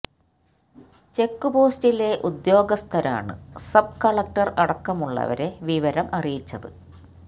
check പോസ്റ്റിലെ ഉദ്യോഗസ്ഥരാണ് sub collector അടക്കമുള്ളവരെ വിവരം അറിയിച്ചത്